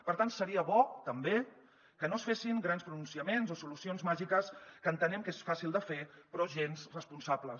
per tant seria bo també que no es fessin grans pronunciaments o solucions màgiques que entenem que són fàcils de fer però gens responsables